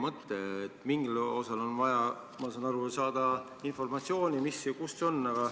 Ma saan aru, et mingil osal on vaja saada informatsiooni, mis ja kus on.